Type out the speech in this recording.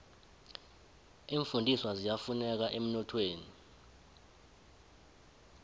iimfundiswa ziyafuneka emnothweni